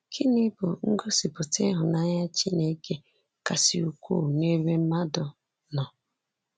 Gịnị bụ ngosipụta ịhụnanya Chineke kasị ukwuu n'ebe mmadụ nọ?